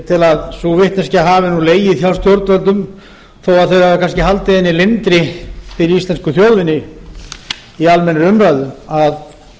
tel að sú vitneskja hafi verið til staðar hjá stjórnvöldum þótt þau hafi kannski haldið henni leyndri fyrir íslensku þjóðinni en í almennri umræðu kom fram að